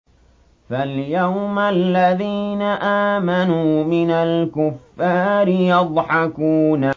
فَالْيَوْمَ الَّذِينَ آمَنُوا مِنَ الْكُفَّارِ يَضْحَكُونَ